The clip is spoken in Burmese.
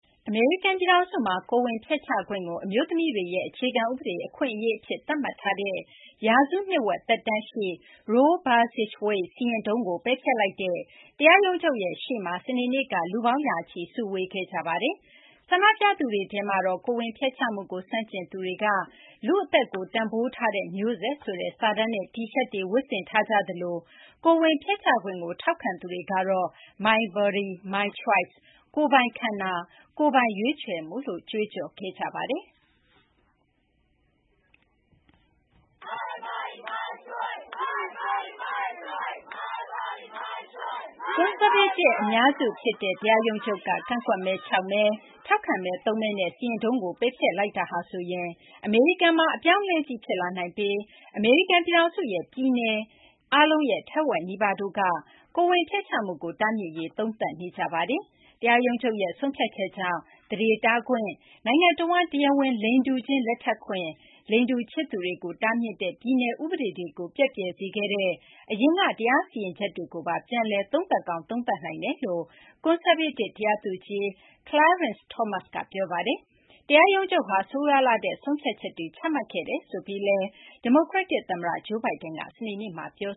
အမေရိကန် ပြည်ထောင်စုမှာ ကိုယ်ဝန်ဖျက်ချခွင့်ကို အမျိုးသမီးတွေရဲ့ အခြေခံ ဥပဒေ အခွင့်အရေး အဖြစ် သတ်မှတ်ထားတဲ့ ရာစုနှစ်ဝက် သက်တမ်းရှိ Roe v. Wade စီရင်ထုံးကို ပယ်ဖျက်လိုက်တဲ့ တရားရုံးချုပ်ရဲ့ ရှေ့မှာ စနေနေ့က လူပေါင်းရာချီ စုဝေးခဲ့ကြပါတယ်။ ဆန္ဒပြသူတွေထဲမှာတော့ ကိုယ်ဝန်ဖျက်ချမှုကို ဆန့်ကျင်သူတွေကတော့ လူ့အသက်ကို တန်ဘိုးထားတဲ့ မျိုးဆက်ဆိုတဲ့ စာတန်းနဲ့ တီရှပ်တွေ ဝတ်ဆင်ထားကြသလို ကိုယ်ဝန်ဖျက်ချခွင့်ကို ထောက်ခံသူတွေကတော့ my body, my choice - ကိုယ်ပိုင်ခန္ဓာ ကိုယ်ပိုင် ရွေးချယ်မှုလို့ ကြွေးကြော်ခဲ့ကြပါတယ်။ ကွန်ဆာဗေးတစ် အများစု ဖြစ်တဲ့ တရားရုံးချုပ်က ကန့်ကွက်မဲ ၆ မဲ၊ ထောက်ခံမဲ ၃ မဲနဲ့ စီရင်ထုံးကို ပယ်ဖျက်လိုက်တာဟာဆိုရင် အမေရိကန်မှာ အပြောင်းအလဲကြီး ဖြစ်လာနိုင်ပြီး အမေရိကန် ပြည်ထောင်စုရဲ့ ပြည်နယ် ထက်ဝက် နီးပါးတို့ကလည်း ကိုယ်ဝန်ဖျက်ချမှုကို တားမြစ်ရေး သုံးသပ်နေကြပါတယ်။ တရားရုံးချုပ်ရဲ့ ဆုံးဖြတ်ချက်ကြောင့် သန္ဓေတားခွင့်၊ နိုင်ငံတဝန်း တရားဝင် လိင်တူခြင်း လက်ထပ်ခွင့်၊ လိင်တူချစ်သူတွေကို တားမြစ်တဲ့ ပြည်နယ် ဥပဒေတွေကို ပျက်ပြယ်စခဲ့တဲ့ အရင်က တရားစီရင်ချက်တွေကိုပါ ပြန်လည် သုံးသပ်ကောင်း သုံးသပ်နိုင်ကြောင်းလည်း ကွန်ဆာဗေးတစ် တရားသူကြီး Clarence Thomas က ပြောပါတယ်။ တရားရုံးချုပ်ဟာ ဆိုးရွားလှတဲ့ ဆုံးဖြတ်ချက်တွေ ချမှတ်ခဲ့တယ်လို့ ဒီမိုကရက်တစ် သမ္မတ Joe Biden က စနေနေ့မှာ ပြော